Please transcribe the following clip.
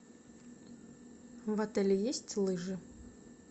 в отеле есть лыжи